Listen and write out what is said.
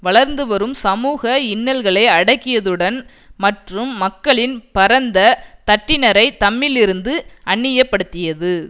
வளர்ந்துவரும் சமூக இன்னல்களை அடக்கியதுடன் மற்றும் மக்களின் பரந்த தட்டினரை தம்மிலிருந்து அந்நியப்படுத்தியது